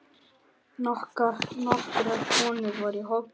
Nokkrar konur voru í hópnum.